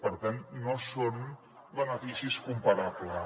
per tant no són beneficis comparables